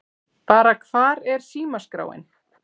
Bara Hvar er símaskráin?